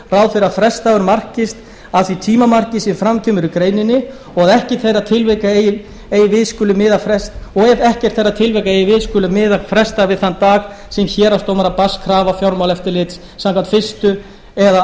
fyrir að frestdagur markist af hverju því tímamarki sem fram kemur í greininni og að ef ekkert þeirra tilvika eigi við skuli miða frestdag við þann dag sem héraðsdómara berst krafa fjármálaeftirlits samkvæmt fyrstu eða